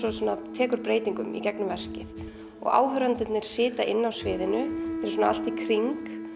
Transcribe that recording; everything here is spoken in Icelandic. tekur breytingum gegnum verkið áhorfendur sitja inn á sviðinu þeir eru allt í kring